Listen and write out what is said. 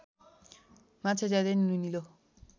माछा ज्यादै नुनिलो